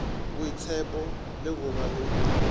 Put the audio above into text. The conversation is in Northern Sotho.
boitshepo le go ba le